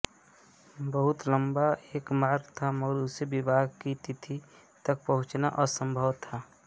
बहुत लम्बा एक मार्ग था मगर उससे विवाह की तिथि तक पहुँचना असम्भव था